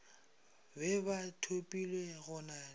be ba thopilwe go na